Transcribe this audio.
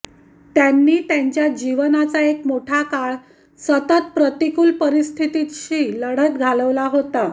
त्यांनी त्यांच्या जीवनाचा एक मोठा काळ सतत प्रतिकूल परिस्थितीशी लढत घालवला होता